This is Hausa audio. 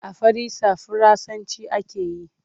A farisa Faransanci ake yi.